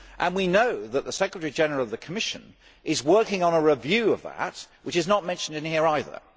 We know that the Secretary General of the Commission is working on a review of that, which is not mentioned in here either.